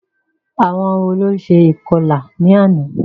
Àwọn wo ló ṣe ìkọlà ní àná?